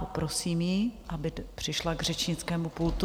Poprosím ji, aby přišla k řečnickému pultu.